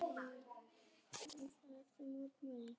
Hreinsað til eftir mótmælin